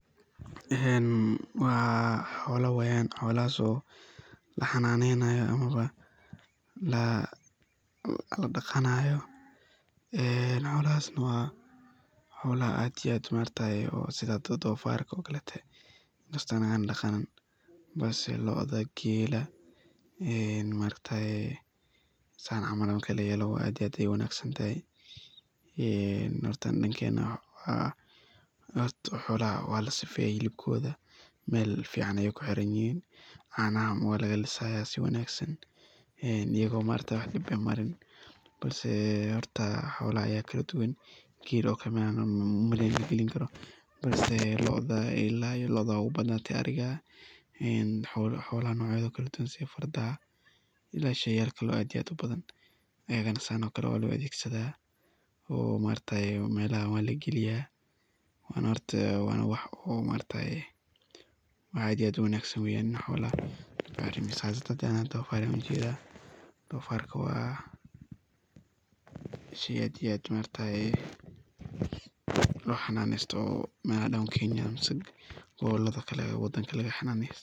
Een xoola weeyan , xolahaso laxananeynayo la daqanayo ee xolahaso wa xaolabaad iyo aad setha dofarka oo kolotay dangana daqanin balsi loodaha keelah ee maaragtay sethan camal ini layeeloh aad iyo aad u wangsantahay hoorta dadkan xolaha sefa helibkotha meel fican Aya kuxiranyahin, canaha walagalisaya sethokali si wanagsan iyadoo wax dib aah marin balsi horta xolaha Aya kaladuuwan Geel oo Kali malagalin karo ila loodah Aya ugu bathan ariga een xola kaladuuwan ila sheygalkan kaladuuwan wabethegsadah, oo maargtahay melaha walageliyah Wana wax aad iyo aad u wangsan weeyan in xolaha Anika sas u jeedah sheey aad iyo aad lo xananeystoh, melaha doawnkeenya melaha wadanga laxananeynayo.